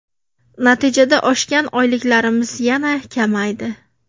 Natijada oshgan oyliklarimiz yana kamaydi.